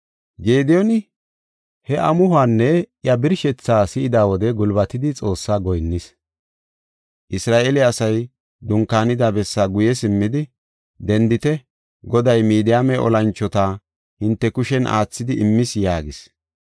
Gediyooni he amuhuwanne iya birshethaa si7ida wode gulbatidi Xoossaa goyinnis. Isra7eele asay dunkaanida bessaa guye simmidi, “Dendite; Goday Midiyaame olanchota hinte kushen aathidi immis” yaagis.